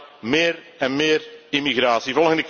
Alleen maar meer en meer immigratie.